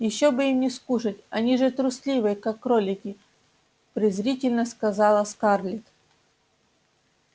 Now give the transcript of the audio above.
ещё бы им не скушать они же трусливые как кролики презрительно сказала скарлетт